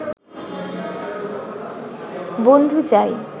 বন্ধু চাই